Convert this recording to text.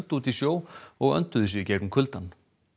út í sjó og önduðu sig í gegnum kuldann